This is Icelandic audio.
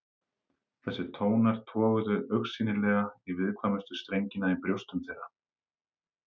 Þessir tónar toguðu augsýnilega í viðkvæmustu strengina í brjóstum þeirra.